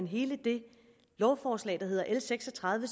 hele det lovforslag der hedder l seks og tredive